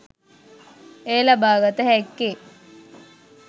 එය ලබාගත හැක්කේ